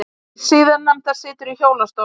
Hið síðarnefnda situr í hjólastól.